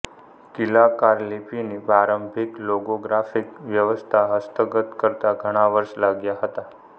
કીલાકાર લિપિની પ્રારંભિક લોગોગ્રાફિક વ્યવસ્થા હસ્તગત કરતા ઘણા વર્ષો લાગ્યા હતા